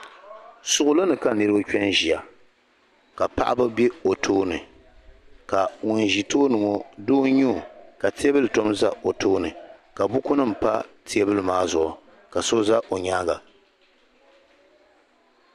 Suɣuli ni ka niriba kpe n ʒia ka paɣaba be o tooni ka ŋun ʒi tooni ŋɔ doo n nyɛ o ka teebuli tom za o tooni ka buku nima pa teebuli maa zuɣu ka so za o nyaanga.